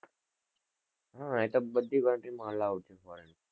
હમ એ તો બઘી country માં allow છે foreign માં